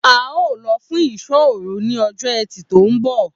A óò lo̩ fún ìsó̩ òru ní o̩jó̩ E̩tì tó ń bò̩